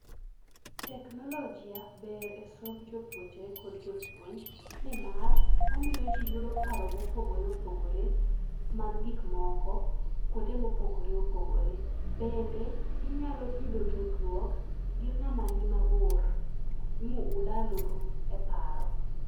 Teknologi ber e somb jopuonjre kod jopuonj. Ni mar omiyo ji yudo paro mopogore opogore mag gikmoko kuonde mopogore opogore. Bende inyalo yudo tudruok gi ng'ama ni mabor mulalru e paro.